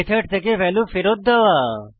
method থেকে value ফেরত দেওয়া